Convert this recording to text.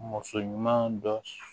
Muso ɲuman dɔ